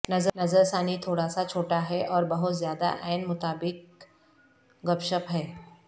نظر ثانی تھوڑا سا چھوٹا ہے اور بہت زیادہ عین مطابق اور گپ شپ ہے